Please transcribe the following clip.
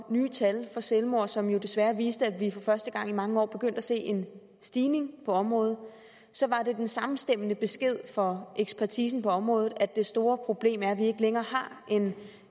nye tal for selvmord som jo desværre viste at vi for første gang i mange år begyndte at se en stigning på området så var det den samstemmende besked fra ekspertisen på området at det store problem var at vi ikke længere har en